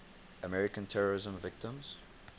american terrorism victims